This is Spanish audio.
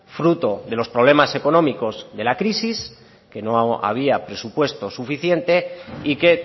fruto de los problemas económicos de la crisis que no había presupuesto suficiente y que